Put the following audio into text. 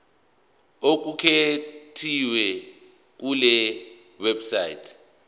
okuqukethwe kule website